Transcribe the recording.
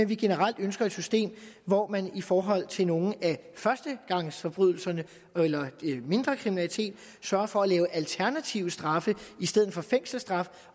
vi generelt ønsker et system hvor man i forhold til nogle af førstegangsforbrydelserne eller mindre kriminalitet sørger for at lave alternative straffe i stedet for fængselsstraf